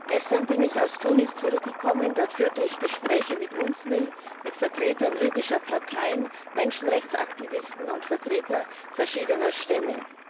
Herr Präsident! Gestern bin ich aus Tunis zurückgekommen. Dort führte ich Gespräche mit UNSMIL mit Vertretern libyscher Parteien, Menschenrechtsaktivisten und Vertretern verschiedener Stämme.